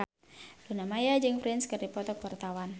Luna Maya jeung Prince keur dipoto ku wartawan